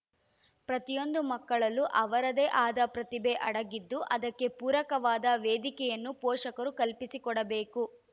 ಪ್ರತಿಯೊಂದು ಮಕ್ಕಳಲ್ಲೂ ಅವರದೇ ಆದ ಪ್ರತಿಭೆ ಅಡಗಿದ್ದು ಅದಕ್ಕೆ ಪೂರಕವಾದ ವೇದಿಕೆಯನ್ನು ಪೋಷಕರು ಕಲ್ಪಿಸಿಕೊಡಬೇಕು